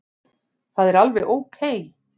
Það er alveg ókei.